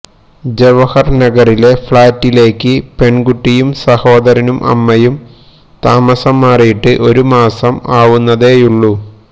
ജവഹര് നഗറിലെ ഫ്ളാറ്റിലേക്ക് പെണ്കുട്ടിയും സഹോദരനും അമ്മയും താമസം മാറിയിട്ട് ഒരു മാസം ആവുന്നതേയുള്ളു